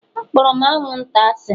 Akpọrọ m anwụnta asị